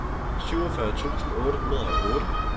syvogfyrre tusind otte hundrede og otte